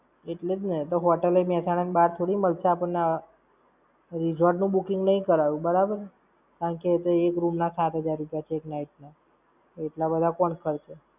એટલે જ ને. તો Hotel એ મેહસાણા ની બાર થોડી મળશે આપણને. Resort નું booking નઈ કરાયું, બરાબર. કારણકે એ તો એક room ના સાત હજાર રૂપિયા છે એક night ના! એટલા બધા કોણ ખર્ચે?